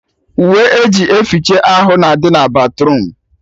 Uwe eji eficha ahụ na-adị na batruum